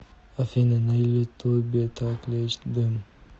афина на ютубе так лечит дым